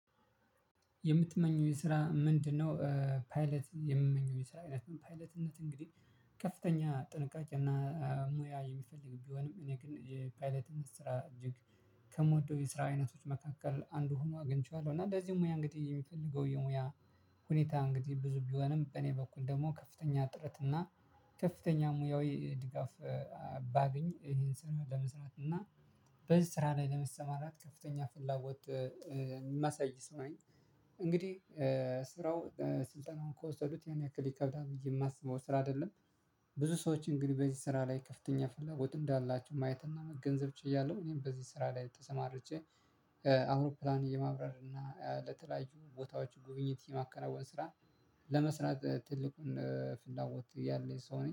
የምትመኘው የስራ ምንድነው? ፓይለት የምመኘው የስራ አይነት ፓይለትነት እንግዲህ ከፍተኛ ጥንቃቄ እና ሙያ የሚፈልግ ቢሆንም እኔ ግን የፓይለት ስራ እጅግ ከምወደው የስራ አይነቶች መካከል አንዱ ሆኖ አግኝቼዋለሁ እና ለዚህ ሙያ እንግዲህ የሚፈልገው የሙያ ሁኔታ እንግዲህ ብዙ ቢሆንም በእኔ በኩል ደግሞ ከፍተኛ ጥረት እና ከፍተኛ ሙያዊ ድጋፍ ባገኝ ይሄን ስራ ለመስራት እና በዚህ ስራ ላይ ለመስማራት ከፍተኛ ፍላጎት ማሳይ ሰው ነኝ። እንግዲህ ስራው ስልጠናውን ከወሰዱት ያን ያክል ይከብዳል ብዬ የማስበው ስራ አይደለም። ብዙ ሰዎች እንግዲህ በዚህ ስራ ላይ ክፍተኛ ፍላጎት እንዳላቸው ማየትና መገንዘብ ችያለሁ እኔም በዚህ ስራ ላይ ተሰማርቼ። አውሮፕላን የማብረር እና ለተለያዩ ቦታዎች ጉብኝት የማከናወን ስራ ለመስራት ትልቁን ፍላጎት ያለኝ ሰው ነኝ